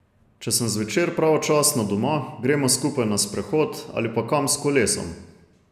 Če sem zvečer pravočasno doma, gremo skupaj na sprehod ali pa kam s kolesom.